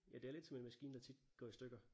Ja det er lidt som en maskine der tit går i stykker